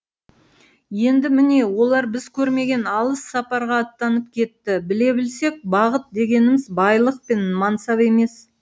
енді міне олар біз көрмеген алыс сапарға аттанып кетті біле білсек бағыт дегеніміз байлық пен мансап емес